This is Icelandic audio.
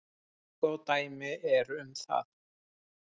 Tvö góð dæmi eru um það.